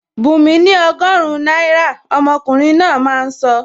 Bunmi ni ọgọrun náírà,! Omokunrin náà máa sọ